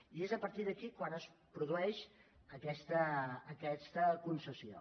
i és a partir d’aquí quan es produeix aquesta concessió